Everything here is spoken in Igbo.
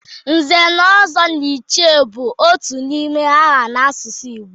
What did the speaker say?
Nze na Ozo na Ichie bụ otu n'ime aha n'asụsụ Igbo